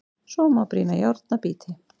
Svo má brýna járn að bíti.